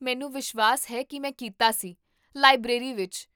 ਮੈਨੂੰ ਵਿਸ਼ਵਾਸ ਹੈ ਕੀ ਮੈਂ ਕੀਤਾ ਸੀ, ਲਾਇਬ੍ਰੇਰੀ ਵਿੱਚ